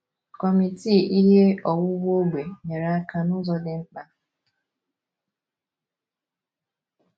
Kọmitii Ihe Owuwu Ógbè nyere aka n’ụzọ dị mkpa.